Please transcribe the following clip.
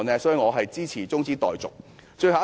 所以，我支持中止待續議案。